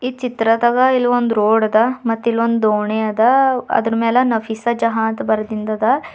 ಚಿತ್ರದಗ ಇಲ್ಲಿ ಒಂದು ರೋಡ್ ಅದ ಮತ್ ಇಲ್ಲೊಂದು ದೋಣಿ ಅದ ಅದ್ರ ಮೇಲೆ ನಫೀಸಾ ಜಹಾನ್ ಅಂಥ ಬರ್ದಿಂದದ.